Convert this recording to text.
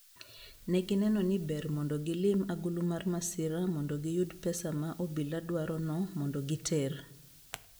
Ne gineno ni ber mondo gilim agulu mar masira mondo giyud pesa ma obila dwarono mondo giter.